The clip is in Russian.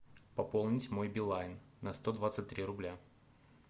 пополнить мой билайн на сто двадцать три рубля